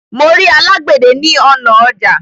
Mo rí alágbède ní ọnà ọjà